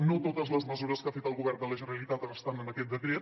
no totes les mesures que ha fet el govern de la generalitat ara estan en aquest decret